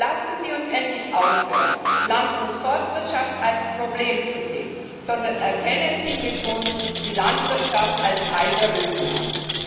Lassen Sie uns endlich aufhören, Land und Forstwirtschaft als Problem zu sehen, sondern erkennen Sie mit uns die Landwirtschaft als Teil der Lösung an.